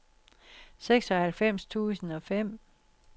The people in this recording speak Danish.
seksoghalvfems tusind og fem